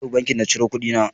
Na tafi banki na cire kuɗi na.